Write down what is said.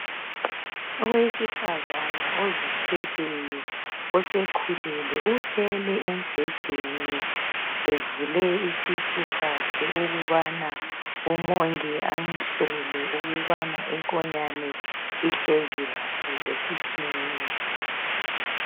Owesifazana ozithweleyo osekhulelwe ulele embhedeni evule isisu sakhe ukubana umongikazi amhlole ukubana inkonyane ihlezi kahle esiswini.